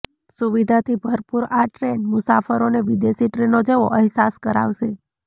સુવિધાથી ભરપૂર આ ટ્રેન મુસાફરોને વિદેશી ટ્રેનો જેવો અહેસાસ કરાવશે